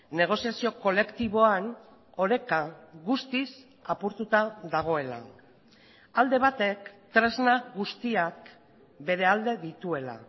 negoziazio kolektiboan oreka guztiz apurtuta dagoela alde batek tresna guztiak bere alde dituela